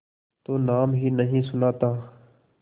तो नाम ही नहीं सुना था